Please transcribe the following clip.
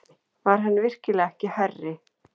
Var hann virkilega ekki hærri?